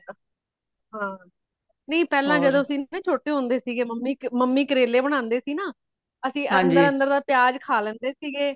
ਹਾਂ ਨਹੀਂ ਪਹਿਲਾਂ ਜਦੋ ਸੀ ਛੋਟੇ ਹੋਂਦੇ ਸੀਗੇ mummy mummy ਕਰੇਲੇ ਬਣਾਂਦੇ ਸੀ ਨਾ ਅਸੀਂ ਅੰਦਰ ਅੰਦਰ ਦਾ ਪਿਆਜ਼ ਖਾਂ ਲੇਂਦੇ ਸੀਗੇ